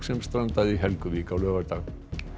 sem strandaði í Helguvík á laugardag